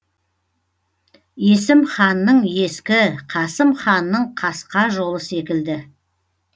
есім ханның ескі қасым ханның қасқа жолы секілді